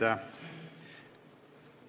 Aitäh!